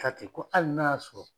Ka ten kɔ ali n'a y'a sɔrɔ